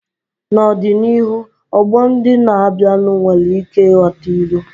N'ọdịnihu, ọgbọ ndị na-abịanụ nwere ike ịghọta ilu.